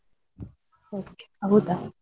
Okay ಹೌದಾ.